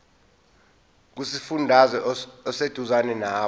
kusifundazwe oseduzane nawe